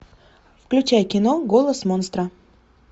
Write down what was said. включай кино голос монстра